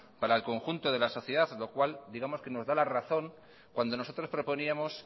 para el conjunto de la sociedad lo cual nos da la razón cuando nosotros proponíamos